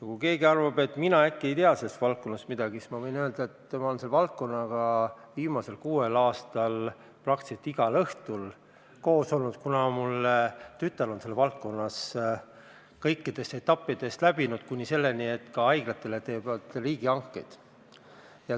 Kui keegi arvab, et mina äkki ei tea sellest valdkonnast midagi, siis ma võin öelda, et ma olen selle valdkonnaga viimasel kuuel aastal praktiliselt igal õhtul kokku puutunud, kuna mu tütar on selles valdkonnas kõik etapid läbinud, kuni haiglatele tehtavate riigihangeteni välja.